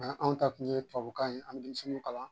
anw ta tun ye tubabukan ye an bɛ denmisɛnninw kalan